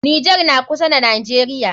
Nijar na kusa da najeriya